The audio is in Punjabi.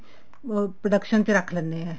production ਚ ਰੱਖ ਲੈਂਦੇ ਹਾਂ